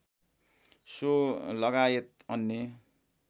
so लगायत अन्य